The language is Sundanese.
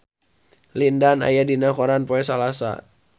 Lin Dan aya dina koran poe Salasa